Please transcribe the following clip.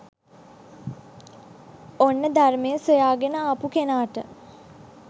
ඔන්න ධර්මය සොයාගෙන ආපු කෙනාට